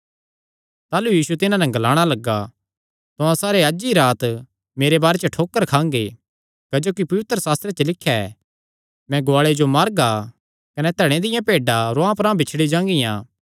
ताह़लू यीशु तिन्हां नैं ग्लाणा लग्गा तुहां सारे अज्ज ई राती मेरे बारे च ठोकर खांगे क्जोकि पवित्रशास्त्रे च लिख्या ऐ मैं गुआले जो मारगा कने धणे दियां भेड्डां रुआंह परांह बिछड़ी जागियां